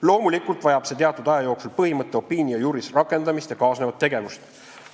Loomulikult vajab see teatud aja jooksul põhimõtte opinio juris rakendamist ja kaasnevat tegevust.